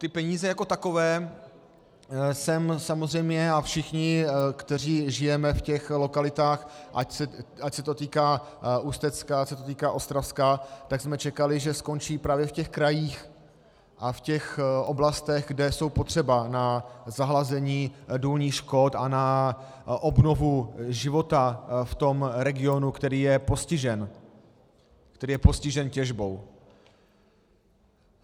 Ty peníze jako takové jsem samozřejmě, a všichni, kteří žijeme v těch lokalitách, ať se to týká Ústecka, ať se to týká Ostravska, tak jsme čekali, že skončí právě v těch krajích a v těch oblastech, kde jsou potřeba na zahlazení důlních škod a na obnovu života v tom regionu, který je postižen těžbou.